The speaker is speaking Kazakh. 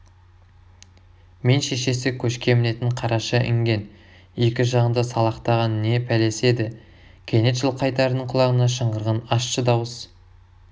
мен шешесі көшке мінетін қараша інген екі жағында салақтаған не пәлесі еді кенет жылқайдардың құлағына шыңғырған ащы дауыс